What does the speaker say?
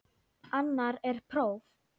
Annar er próf.